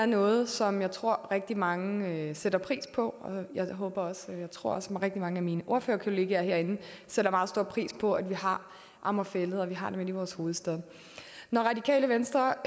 noget som jeg tror rigtig mange sætter pris på jeg håber og tror også at rigtig mange af mine ordførerkollegaer herinde sætter meget stor pris på at vi har amager fælled og at vi har den inde i vores hovedstad når radikale venstre